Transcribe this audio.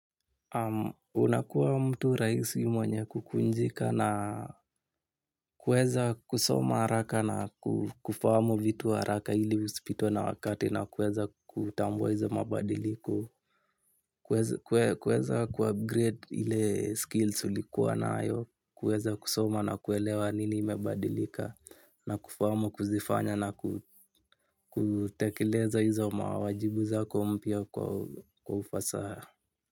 Unakuwa mtu rahisi mwenye kukunjika na kuweza kusoma haraka na kufahamu vitu haraka ili usipitwe na wakati na kuweza kutambua hizo mabadiliko. Kuweza kuupgrade ile skills ulikuwa nayo, kuweza kusoma na kuelewa nini imebadilika. Na kufamu kuzifanya na kutekeleza hizo mawajibu zako mpya kwa ufasaha.